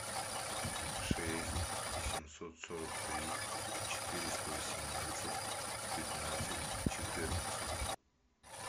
шесть семьсот сорок три четыреста восемнадцать пятнадцать четырнадцать